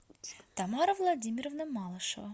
тамара владимировна малышева